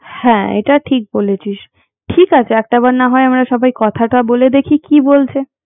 হ্যাঁ এটা ঠিক বলেছিস ঠিক আছে একটা বার নাহয় আমরা সবাই কথাটা বলে দেখি কি বলছে